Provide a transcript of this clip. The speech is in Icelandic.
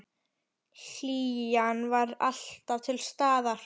Hlýjan var alltaf til staðar.